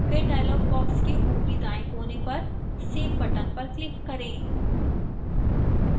फिर dialog box के ऊपरी दाएं कोने पर save button पर click करें